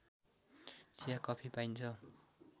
चिया कफी पाइन्छ